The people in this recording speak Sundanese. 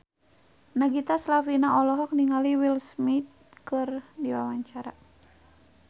Nagita Slavina olohok ningali Will Smith keur diwawancara